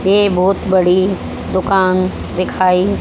ए बहोत बड़ी दुकान दिखाई--